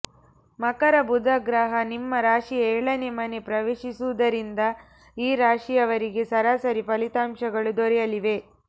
ಮಕರ ಬುಧ ಗ್ರಹ ನಿಮ್ಮ ರಾಶಿಯ ಏಳನೇ ಮನೆ ಪ್ರವೇಶಿಸಿರುವುದರಿಂದ ಈ ರಾಶಿಯವರಿಗೆ ಸರಾಸರಿ ಫಲಿತಾಂಶಗಳು ದೊರೆಯಲಿವೆ